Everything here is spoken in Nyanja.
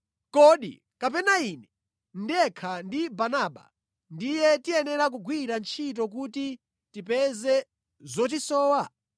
Kodi kapena ine ndekha ndi Barnaba ndiye tikuyenera kugwira ntchito kuti tipeze zotisowa?